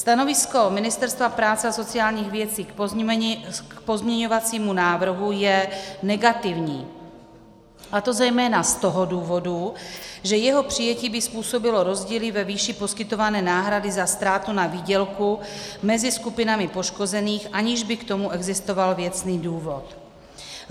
Stanovisko Ministerstva práce a sociálních věcí k pozměňovacímu návrhu je negativní, a to zejména z toho důvodu, že jeho přijetí by způsobilo rozdíly ve výši poskytované náhrady za ztrátu na výdělku mezi skupinami poškozených, aniž by k tomu existoval věcný důvod.